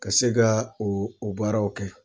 Ka se ka u u baaraw kɛ.